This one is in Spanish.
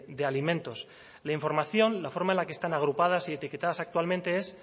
de alimentos la información la forma en la que están agrupadas y etiquetadas actualmente es